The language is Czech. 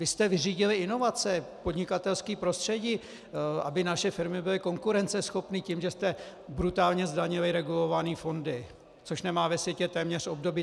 Vy jste vyřídili inovace, podnikatelské prostředí, aby naše firmy byly konkurenceschopné, tím, že jste brutálně zdanili regulované fondy, což nemá ve světě téměř obdoby.